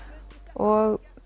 og